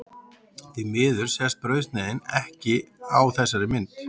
Því miður sést brauðsneiðin ekki á þessari mynd.